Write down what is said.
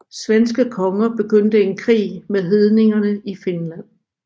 Svenske konger begyndte en krig med hedningene i Finland